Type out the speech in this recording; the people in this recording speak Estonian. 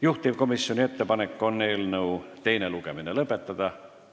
Juhtivkomisjoni ettepanek on eelnõu teine lugemine lõpetada.